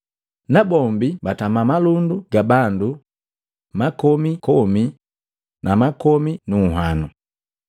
Na bombi batama malundu ga bandu makomi komi na makomi nu nhwano.